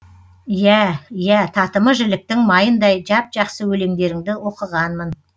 иә иә татымы жіліктің майындай жап жақсы өлеңдеріңді оқығанмын